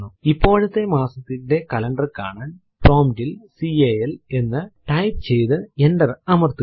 ഇപ്പോഴത്തെ മാസത്തിന്റെ കലണ്ടർ കാണാൻ പ്രോംപ്റ്റ് ൽ കാൽ എന്ന് ടൈപ്പ് ചെയ്തു എന്റർ അമർത്തുക